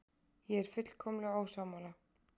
Ég er fullkomlega ósammála.